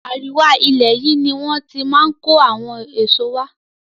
Àríwá ilẹ̀ yìí ni wón ti máa ń kó àwọn èso wá.